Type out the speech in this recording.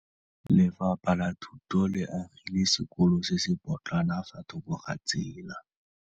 Lefapha la Thuto le agile sekôlô se se pôtlana fa thoko ga tsela.